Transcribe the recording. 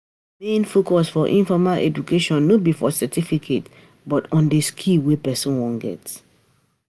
The main focus for informal education no be for certificate but on di skill wey person wan get